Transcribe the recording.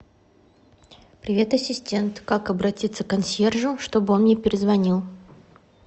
привет ассистент как обратиться к консьержу чтобы он мне перезвонил